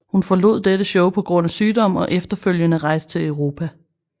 Hun forlod dette show på grund af sygdom og efterfølgende rejste til Europa